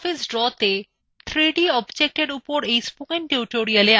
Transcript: libreoffice drawতে 3d objectsএর উপর এই spoken tutorialএ আপনাদের স্বাগত